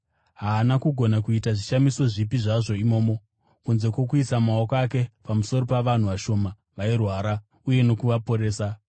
Haana kugona kuita zvishamiso zvipi zvazvo imomo, kunze kwokuisa maoko ake pamusoro pavanhu vashoma vairwara uye nokuvaporesa.